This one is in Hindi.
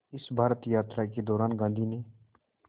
इस भारत यात्रा के दौरान गांधी ने